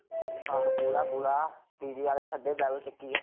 ਆਹੋ ਪੂਰਾ ਪੂਰਾ dj ਆਲੇ ਸੱਦੇ ਜਲ ਚੱਕਈਏ